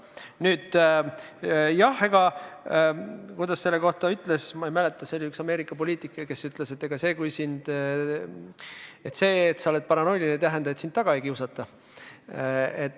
Nüüd, kuidas see oligi, ma ei mäleta, see oli üks Ameerika poliitik, kes ütles, et see, et sa oled paranoiline, ei tähenda, et sind taga ei kiusata.